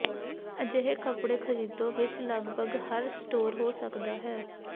ਅਜਿਹੇ ਕੱਪੜੇ ਖਰੀਦੋ ਵਿਚ ਲਗਭਗ ਹਰ ਸਟੋਰ ਹੋ ਸਕਦਾ ਹੈ